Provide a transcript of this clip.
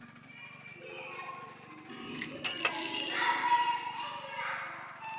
Ánægðar að sjást.